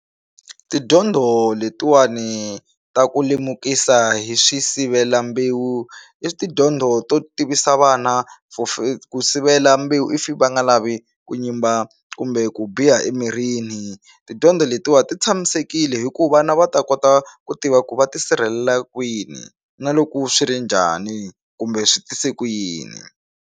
Tidyondzo letiwani ta ku lemukisa hi swisivelambewu i tidyondzo to tivisa vana for ku sivela mbewu if va nga lavi ku nyimba kumbe ku biha emirini tidyondzo letiwa ti tshamisekile hi ku vana va ta kota ku tiva ku va tisirhelela kwini na loko swi ri njhani kumbe swi tise ku yini.